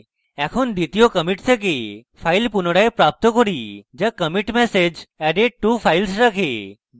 এখন দ্বিতীয় commit থেকে file পুনরায় প্রাপ্ত করি যা commit message added two files রাখে